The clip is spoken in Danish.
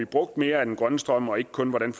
brugt mere af den grønne strøm og ikke kun hvordan